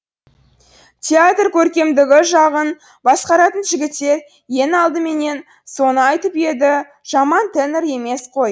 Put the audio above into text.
театр көркемдігі жағын басқаратын жігіттер ең алдыменен соны айтып еді жаман тенор емес қой